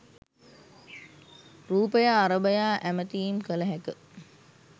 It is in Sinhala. රුපය අරඹයා ඇමතීම් කල හැක